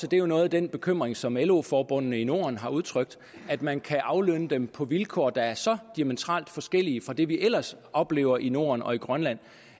det er jo noget af den bekymring som lo forbundene i norden har udtrykt at man kan aflønne dem på vilkår der er så diametralt forskellige fra det vi ellers oplever i norden og i grønland